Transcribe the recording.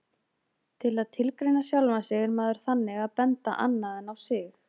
Til að tilgreina sjálfan sig er maður þannig að benda annað en á sig.